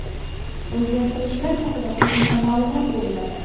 O‘zgartirishlar haqida qo‘shimcha ma’lumot beriladi.